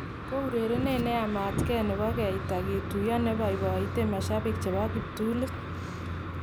Ko urerenet neamat Kee nebo Keita kituyo nebaibaite mashabik chebo kiptulit.